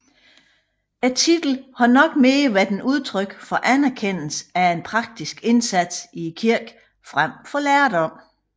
Titlen har nok mere været et udtryk for anerkendelse af en praktisk indsats i kirken frem for lærdom